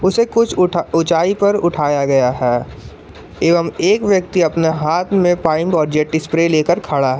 उसे कुछ उठा ऊंचाई पर उठाया गया है एवं एक व्यक्ति अपने हाथ में पाईप और जेट स्प्रे लेकर खड़ा है।